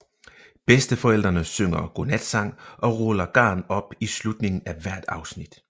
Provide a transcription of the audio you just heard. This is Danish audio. Bedsteforældrene synger godnatsang og ruller garn op i slutningen af hvert afsnit